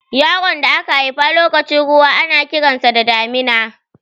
Yaron da aka haifa lokacin ruwa ana kiran sa da Damina.